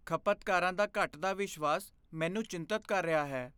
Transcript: ਖਪਤਕਾਰਾਂ ਦਾ ਘੱਟਦਾ ਵਿਸ਼ਵਾਸ ਮੈਨੂੰ ਚਿੰਤਤ ਕਰ ਰਿਹਾ ਹੈ।